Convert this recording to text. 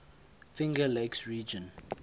finger lakes region